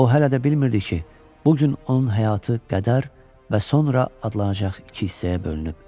O hələ də bilmirdi ki, bu gün onun həyatı qədər və sonra adlanacaq iki hissəyə bölünüb.